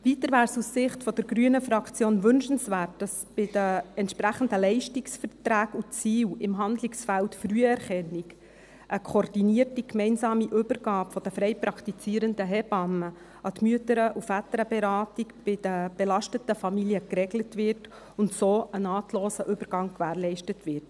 Weiter wäre es aus Sicht der Fraktion Grüne wünschenswert, dass bei den entsprechenden Leistungsverträgen und Zielen im Handlungsfeld Früherkennung eine koordinierte gemeinsame Übergabe der frei praktizierenden Hebammen an die MVB bei den belasteten Familien geregelt und so ein nahtloser Übergang gewährleistet wird.